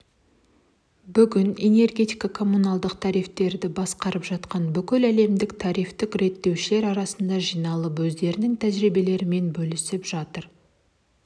бүгін энергетиканы коммуналдық тарифтерді басқарып жатқан бүкіл әлемдегі тарифтік реттеушілер астанада жиналып өздерінің тәжірибелерімен бөлісіп жатыр